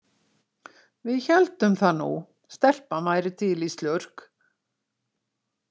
Við héldum það nú, stelpan væri til í slurk.